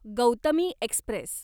Gautami Express